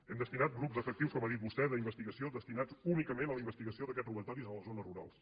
hem destinat grups d’efectius com ha dit vostè d’investigació destinats únicament a la investigació d’aquests robatoris a les zones rurals